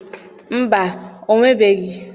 Mba, o nwebeghị.